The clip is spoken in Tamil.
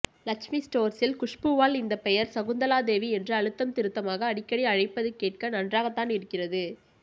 லட்சுமி ஸ்டோர்ஸில் குஷ்பூவால் இந்த பெயர் சகுந்தலாதேவி என்று அழுத்தம் திருத்தமாக அடிக்கடி அழைப்பது கேட்க நன்றாகத்தான் இருந்தது